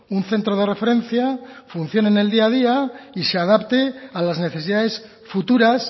un centro de referencia funcione en el día a día y se adapte a las necesidades futuras